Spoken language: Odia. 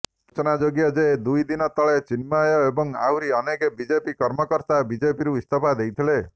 ସୂଚନାଯୋଗ୍ୟ ଯେ ଦୁଇ ଦିନ ତଳେ ଚିନ୍ମୟ ଏବଂ ଆହୁରି ଅନେକ ବିଜେପି କାର୍ଯ୍ୟକର୍ତ୍ତା ବିଜେପିରୁ ଇସ୍ତଫା ଦେଇଥିଲେ